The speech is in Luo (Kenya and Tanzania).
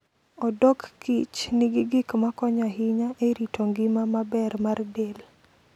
Odok kich nigi gik makonyo ahinya e rito ngima maber mar del.